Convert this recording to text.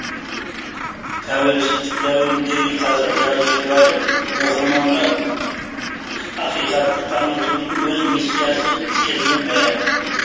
тәуелсіздік дәуіріндегі қазақ жазушылары оқырманға ақиқатты танытудың өз миссиясы сезіне ме